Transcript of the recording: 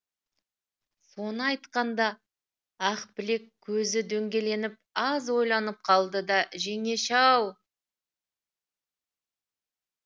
соны айтқанда ақбілек көзі дөңгеленіп аз ойланып қалды да жеңеше ау